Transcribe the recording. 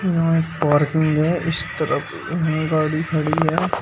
यहां पार्क में इस तरफ में गाड़ी खड़ी है।